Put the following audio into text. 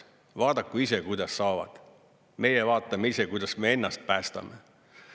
Vaadaku ise, kuidas saavad, meie vaatame ise, kuidas me ennast päästame.